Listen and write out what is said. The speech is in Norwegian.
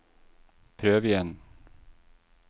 prøv igjen